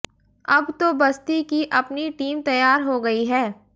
अब तो बस्ती की अपनी टीम तैयार हो गई है